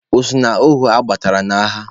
O so n'ohu adọtara n'agha?